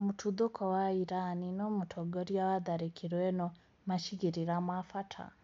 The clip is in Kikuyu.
Mũtuthũko wa Iran:Nũ mũtongoria wa 'tharakĩro' ĩno macigĩrĩra ma bata